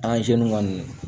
kɔni